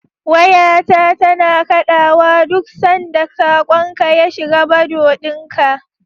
Wayata tana kaɗawa duk sanda saƙonka ya shiga Bado ɗina.